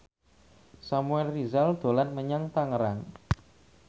Samuel Rizal dolan menyang Tangerang